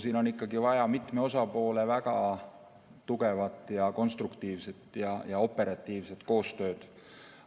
Siin on vaja mitme osapoole väga tugevat, konstruktiivset ja operatiivset koostööd.